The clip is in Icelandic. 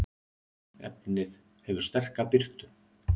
efnið hefur sterka birtu